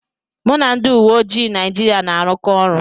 Mụ na ndị uwe ojii Naijiria na-arụkọ ọrụ.